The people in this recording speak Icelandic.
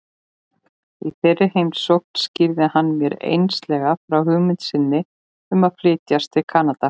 Í þeirri heimsókn skýrði hann mér einslega frá hugmynd sinni um að flytjast til Kanada.